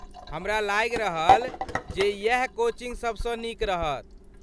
हमरा लागि रहल जे इएह कोचिंग सभसँ नीक रहत।